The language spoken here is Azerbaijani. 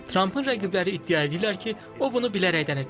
Trampın rəqibləri iddia edirlər ki, o bunu bilərəkdən edib.